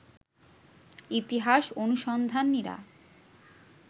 ইতিহাস অনুসন্ধানীরা